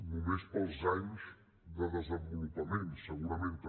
només pels anys de desenvolupament segurament també